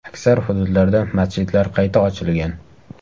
Aksar hududlarda masjidlar qayta ochilgan.